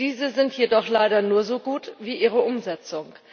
Diese sind jedoch leider nur so gut wie ihre Umsetzung.